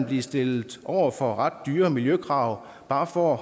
blive stillet over for ret dyre miljøkrav bare for at